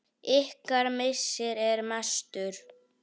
Ykkar missir er mestur.